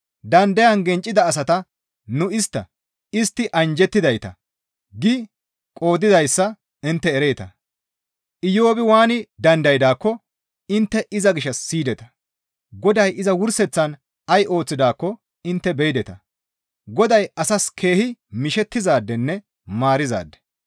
Dandayan genccida asata nu istta, «Istti anjjettidayta» gi qoodizayssa intte ereeta. Iyoobi waani dandaydaakko intte iza gishshas siyideta. Goday iza wurseththan ay ooththidaakko intte beyideta; Goday asas keehi mishettizaadenne maarizaade.